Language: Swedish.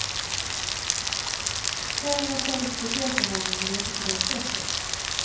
Tjejen är säkert speciell för honom, men inte på det sättet.